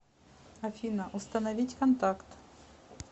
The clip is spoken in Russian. афина установить контакт